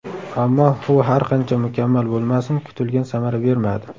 Ammo u har qancha mukammal bo‘lmasin, kutilgan samara bermadi.